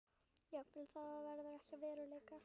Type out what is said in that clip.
Jafnvel það verður ekki að veruleika.